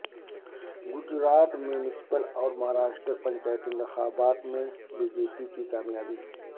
Gujarat municipal اور مہاراشٹر پنچایتی انتخابات میں بی جے پی کی کامیابی